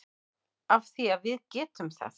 Af því að við getum það.